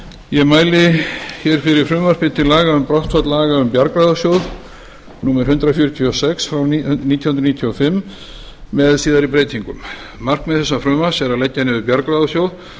ég mæli fyrir frumvarpi til laga um brottfall laga um bjargráðasjóð númer hundrað fjörutíu og sex nítján hundruð níutíu og fimm með síðari breytingum markmið þessa frumvarps er að leggja niður bjargráðasjóð